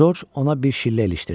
Corc ona bir şillə ilişdirdi.